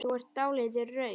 Þú er dáldið rauð.